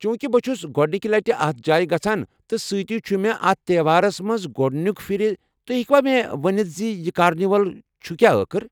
چوٗنٛکِہ بہٕ چھُس گۄڑنکہِ لٹہِ اتھ جایہِ گژھان تہٕ سۭتی چھُ مے٘ اتھ تیوہارس منز گو٘ڈنِیكہِ پھیرٕ ،تُہۍ ہیكوا مے٘ ونِتھ زِ یہِ كارنِول چُھ كیاہ ٲخر ؟